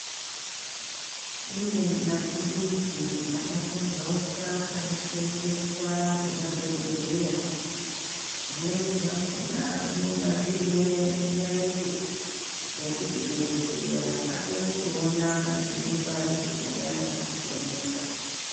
Kune maturuzi akapambauka anosevenzeswa Nemadhokodheya zvimweni zvakona zvinenge zviine mwenje wekuti dhokodheya akone kuona zvinenge zvisinganyatsi kuoneka.